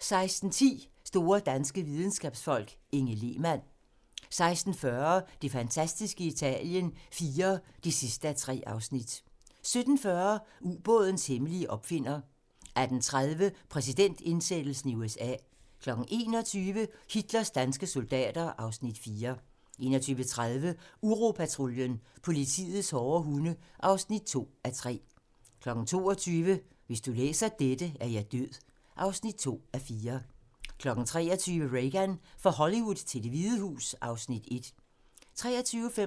16:10: Store danske videnskabsfolk: Inge Lehmann 16:40: Det fantastiske Italien IV (3:3) 17:40: Ubådens hemmelige opfinder 18:30: Præsidentindsættelse i USA 21:00: Hitlers danske soldater (Afs. 4) 21:30: Uropatruljen - politiets hårde hunde (2:3) 22:00: Hvis du læser dette, er jeg død (2:4) 23:00: Reagan - fra Hollywood til Det Hvide Hus (Afs. 1) 23:55: